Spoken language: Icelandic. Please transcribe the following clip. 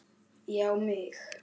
Já mig!